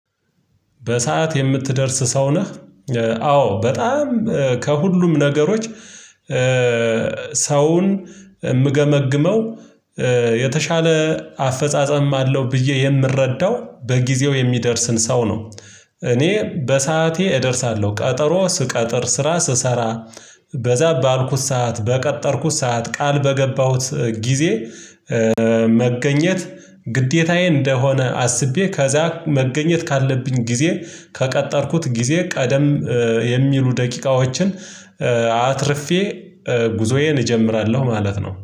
በሰአት የምትደርስ ሰው ነህ? አዎ በጣም ከሁሉም ነገሮች ሰውን የምገመግመው የተሻለ አፈጻጸም አለው ብዬ የምረዳው በጊዜው የሚደርስን ሰው ነው። እኔ በሰአቴ እደርሳለሁ ቀጠሮ ስቀጠር ስራ ስሰራ በዛ ባልኩት ሰዓት በቀጠርኩት ሰዓት ቃል በገባሁት ጊዜ። መገኘት ግዴታዬ እንደሆነ አስቤ ከዛ መገኘት ካለብኝ ጊዜ ከቀጠርኩት ጊዜ ቀደም የሚሉ ደቂቃዎችን አትርፌ ጉዞዬን እጀምራለሁ ማለት ነው